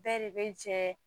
Bɛɛ de bɛ jɛ